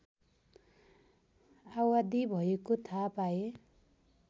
आवादी भएको थाहा पाए